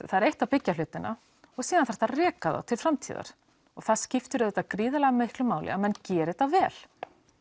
það er eitt að byggja hlutina og síðan þarftu að reka það til framtíðar og það skiptir auðvitað gríðarlega miklu máli að menn geri þetta vel